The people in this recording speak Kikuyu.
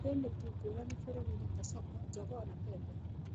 Kwĩ mĩtu ngũrani bũrũri-inĩ ta soko, jogoo na pembe.